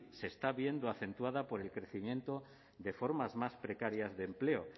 se está viendo acentuada por el crecimiento de formas más precarias de empleo